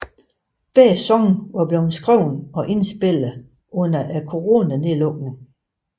Begge sange var blevet skrevet og indspillet under coronanedlukket